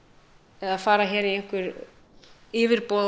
eða fara í yfirboð á